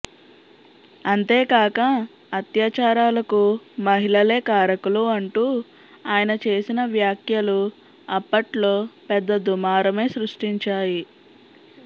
అంతేకాక అత్యాచారాలకు మహిళలే కారకులు అంటూ ఆయన చేసిన వ్యాఖ్యలు అప్పట్లో పెద్దదుమారమే సృష్టించాయి